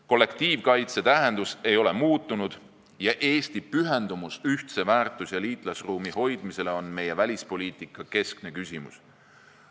Kollektiivkaitse tähendus ei ole muutunud ja Eesti pühendumus ühtse väärtus- ja liitlasruumi hoidmisele on meie välispoliitika keskne küsimus.